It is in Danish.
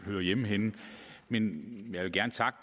hører hjemme men jeg vil gerne takke